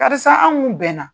Karisa an kun bɛnna